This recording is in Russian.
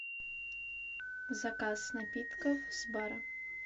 заказ напитков с бара